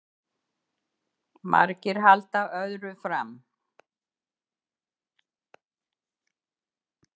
Margir halda öðru fram